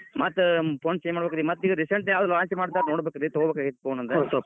ಮತ್ phone change ಮಾಡಬೇಕ್ರಿ, ಮತ್ recent ಯಾವ್ದ್ launch ಮಾಡ್ತಾರ್ ನೋಡಬೇಕ್ರಿ ತೊಗೋಬೇಕಾಗೇತಿ phone ಒಂದ್.